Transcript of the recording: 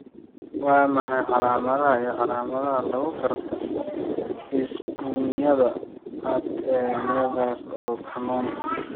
Waa maxay calaamadaha iyo calaamadaha lagu garto isbuunyada cad ee nevus ee cannon?